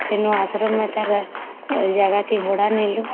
ସେନ ଆଶ୍ରମ ନେତାର ଜାଗାଟି ଭଡା ନେଲୁ